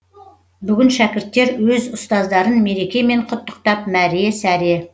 бүгін шәкірттер өз ұстаздарын мерекемен құттықтап мәре сәре